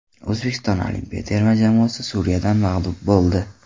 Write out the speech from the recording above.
O‘zbekiston olimpiya terma jamoasi Suriyadan mag‘lub bo‘ldi.